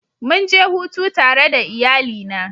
Mun je hutu tare da iyalina.